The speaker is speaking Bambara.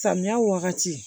Samiya wagati